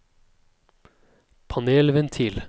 panelventil